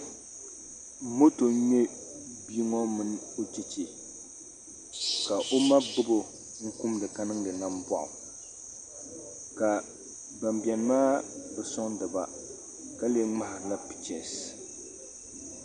Moto n ŋmɛ bia ŋo mini o chɛchɛ ka o ma gbubo n kumdi ka niŋdi namboɣu ka ban biɛni maa bi soŋdiba ka lee ŋmaharila pichɛs